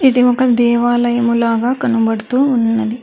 ఇది ఒక దేవాలయము లాగా కనబడుతూ ఉన్నది.